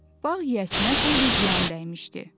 Bağ yiyəsinə xeyli ziyan dəymişdi.